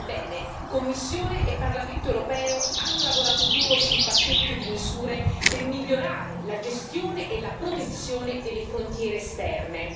Ebbene, Commissione e Parlamento europeo hanno lavorato duro sul pacchetto di misure per migliorare la gestione e la protezione delle frontiere esterne.